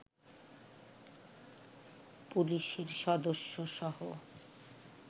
পুলিশের সদস্যসহ